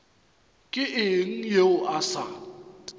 ke eng yeo a sa